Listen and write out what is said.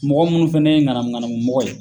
Mɔgɔ munnu fɛnɛ ye ŋanamu ŋanamu mɔgɔ ye